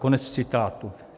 Konec citátu.